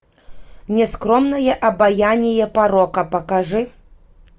нескромное обаяние порока покажи